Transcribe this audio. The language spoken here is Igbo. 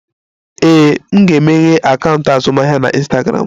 Ee, m ga-emeghe akaụntụ azụmahịa na Ịnstagramụ